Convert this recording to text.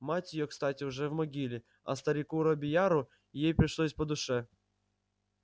мать её кстати уже в могиле а старику робийяру ей пришлось по душе